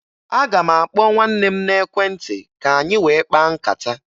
Aga m akpọ nwanne m n'ekwentị ka anyị wee kpaa nkata